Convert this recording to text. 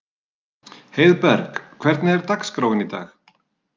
Heiðberg, hvernig er dagskráin í dag?